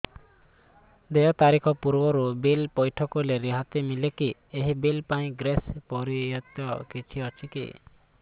ଦେୟ ତାରିଖ ପୂର୍ବରୁ ବିଲ୍ ପୈଠ କଲେ ରିହାତି ମିଲେକି ଏହି ବିଲ୍ ପାଇଁ ଗ୍ରେସ୍ ପିରିୟଡ଼ କିଛି ଅଛିକି